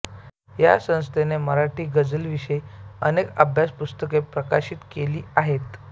या संस्थेने मराठी गझलविषयक अनेक अभ्यास पुस्तके प्रकाशित केली आहेत